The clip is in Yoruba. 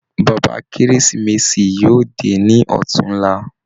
Bàbá kérésìmesì yóò dé ní ọ̀túnlá.